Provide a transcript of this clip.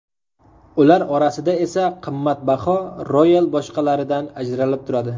Ular orasida esa qimmatbaho royal boshqalaridan ajralib turadi.